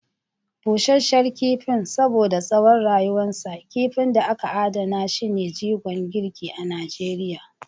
Busasshen Kifin: Saboda tsawon rayuwarsa, kifin da aka adana shi ne jigon girki a Najeriya.